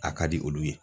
A ka di olu ye